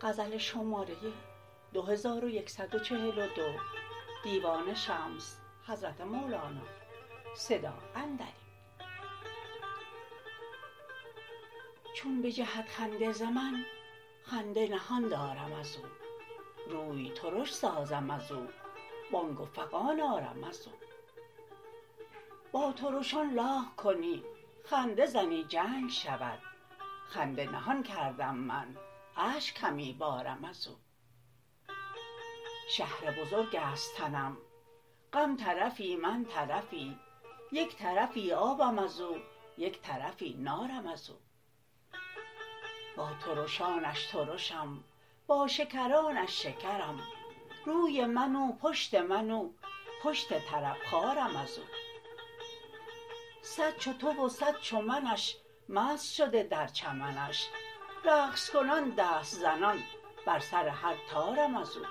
چون بجهد خنده ز من خنده نهان دارم از او روی ترش سازم از او بانگ و فغان آرم از او با ترشان لاغ کنی خنده زنی جنگ شود خنده نهان کردم من اشک همی بارم از او شهر بزرگ است تنم غم طرفی من طرفی یک طرفی آبم از او یک طرفی نارم از او با ترشانش ترشم با شکرانش شکرم روی من او پشت من او پشت طرب خارم از او صد چو تو و صد چو منش مست شده در چمنش رقص کنان دست زنان بر سر هر طارم از او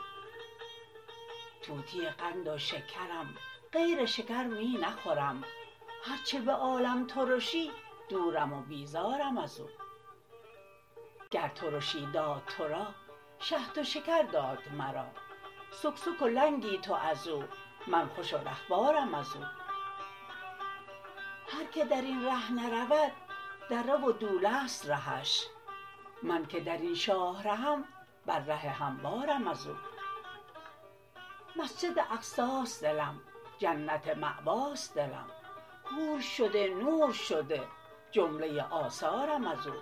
طوطی قند و شکرم غیر شکر می نخورم هر چه به عالم ترشی دورم و بیزارم از او گر ترشی داد تو را شهد و شکر داد مرا سکسک و لنگی تو از او من خوش و رهوارم از او هر کی در این ره نرود دره و دوله ست رهش من که در این شاه رهم بر ره هموارم از او مسجد اقصاست دلم جنت مأواست دلم حور شده نور شده جمله آثارم از او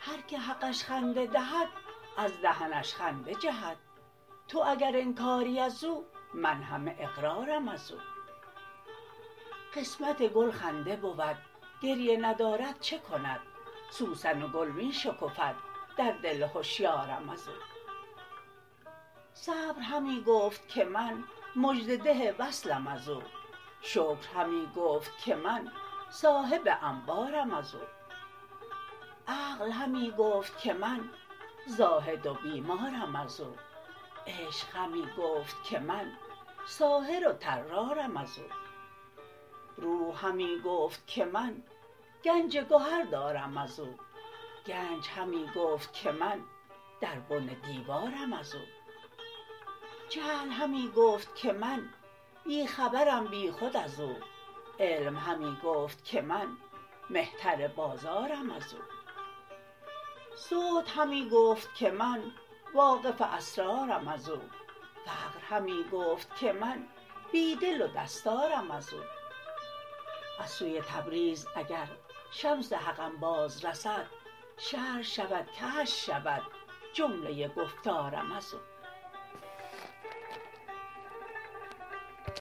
هر کی حقش خنده دهد از دهنش خنده جهد تو اگر انکاری از او من همه اقرارم از او قسمت گل خنده بود گریه ندارد چه کند سوسن و گل می شکفد در دل هشیارم از او صبر همی گفت که من مژده ده وصلم از او شکر همی گفت که من صاحب انبارم از او عقل همی گفت که من زاهد و بیمارم از او عشق همی گفت که من ساحر و طرارم از او روح همی گفت که من گنج گهر دارم از او گنج همی گفت که من در بن دیوارم از او جهل همی گفت که من بی خبرم بیخود از او علم همی گفت که من مهتر بازارم از او زهد همی گفت که من واقف اسرارم از او فقر همی گفت که من بی دل و دستارم از او از سوی تبریز اگر شمس حقم باز رسد شرح شود کشف شود جمله گفتارم از او